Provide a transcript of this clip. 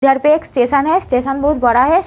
इधर पे एक स्टेशन है स्टेशन बहोत बड़ा है।